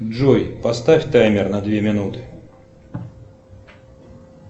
джой поставь таймер на две минуты